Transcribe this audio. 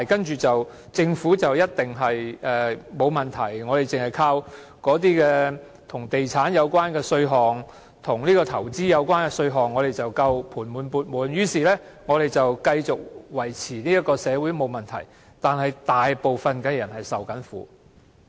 政府便一定沒有問題了，而我們便單靠與地產和投資有關的稅項便足夠了，盤滿缽滿，於是我們這樣便可繼續維持這個社會而沒有問題，可是大部分人正在受苦。